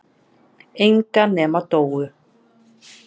Enga nema Dóu.